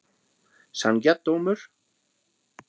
Sanngjarn dómur?